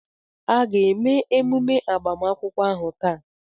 A ga-eme emume agbamakwụkwọ ahu taa?